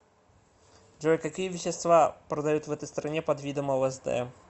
джой какие вещества продают в этой стране под видом лсд